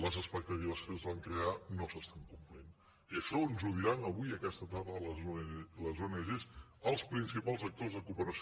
les expectatives que es van crear no s’estan complint i això ens ho diran avui aquesta tarda les ong els principals actors de cooperació